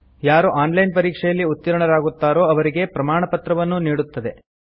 ಯಾರು online ಪರೀಕ್ಷೆಯಲ್ಲಿ ಉತ್ತೀರ್ಣರಾಗುತ್ತಾರೋ ಅವರಿಗೆ ಪ್ರಮಾಣಪತ್ರವನ್ನೂ ನೀಡುತ್ತದೆ